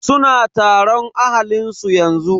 Suna taron ahalin su yanzu.